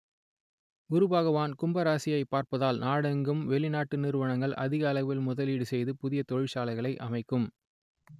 குருபகவான் கும்பராசியை பார்ப்தால் நாடெங்கும் வெளிநாட்டு நிறுவனங்கள் அதிக அளவில் முதலீடு செய்து புதிய தொழிற்சாலைகளை அமைக்கும்